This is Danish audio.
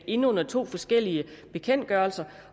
ind under to forskellige bekendtgørelser